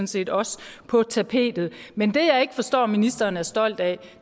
set også på tapetet men det jeg ikke forstår ministeren er stolt af